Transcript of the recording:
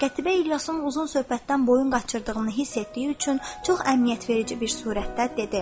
Qətiyyə İlyasın uzun söhbətdən boyun qaçırdığını hiss etdiyi üçün çox əmniyyətverici bir surətdə dedi: